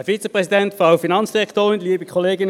Kommissionssprecher der FiKo.